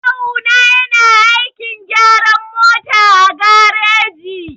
Kawu na yana aikin gyaran mota a gareji.